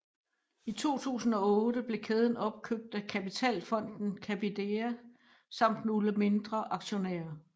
I 2008 blev kæden opkøbt af kapitalfonden Capidea samt nogle mindre aktionærer